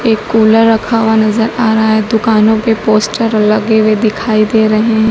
एक कूलर रखा हुआ नजर आ रहा है दुकानों पे पोस्टर लगे हुए दिखाई दे रहें--